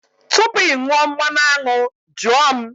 Tupu ị ṅụọ mmanụ aṅụ, jụọ m!